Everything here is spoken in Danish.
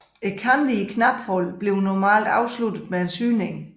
Kanterne i knaphullet bliver normalt afsluttet med en syning